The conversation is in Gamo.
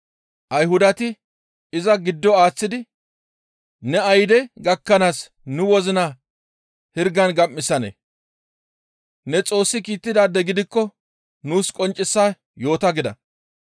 Ayhudati iza giddo aaththidi, «Ne ayde gakkanaas nu wozina hirgan gam7isanee? Ne Xoossi kiittidaade gidikko nuus qonccisa yoota» gida.